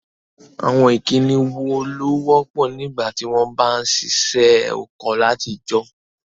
Àwon ìkíni wo ló wọ́pọ̀ nígbàtí won ba n sisẹ́ oko látijọ́?